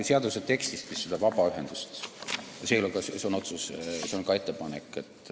Seaduse tekstist me vist "vabaühendust" ei leia, see on ka ettepanek.